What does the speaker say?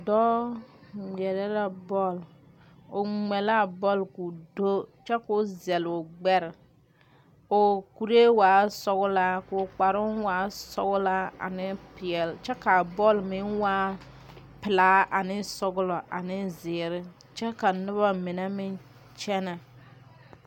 Doɔ ŋmɛɛre la bol. O ŋmɛ la a bol k'o do kyɛ k'o zele o gbɛre. K'o kureɛ waa sɔglaa k'o kparoŋ waa sɔglaa ane piɛle. Kyɛ kaa bol meŋ waa pulaa ane sɔglɔ ane ziire. Kyɛ ka noba mene meŋ kyene